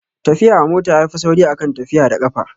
Tafiya a mota yafi sauri a kan tafiya da ƙafa